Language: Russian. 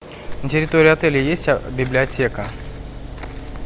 на территории отеля есть библиотека